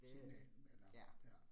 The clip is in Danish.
Det ja